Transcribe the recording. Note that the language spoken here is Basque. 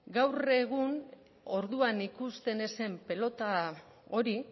gaur egun orduan ikusten ez zen pilota hori